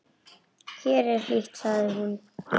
Hér er hlýtt, sagði hún.